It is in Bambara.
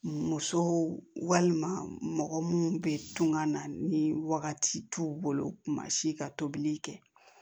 Musow walima mɔgɔ munnu bɛ tunga na ni wagati t'u bolo kuma si ka tobili kɛ